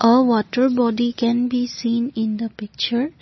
uh water body can be seen in the picture.